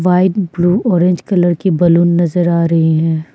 White blue orange colour के balloon नजर आ रहे है।